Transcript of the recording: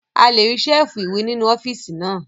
A lè rí Ṣẹ́ẹ̀fù ìwé nínú ọ́fíìsì náà